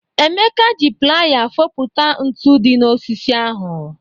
Emeka ji playa foputa ntu dị n'osisi ahụ.